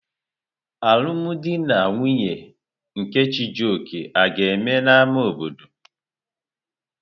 Alụm di na nwunye nke Chijioke aga-eme n'ámá obodo?